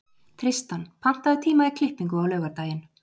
Tristan, pantaðu tíma í klippingu á laugardaginn.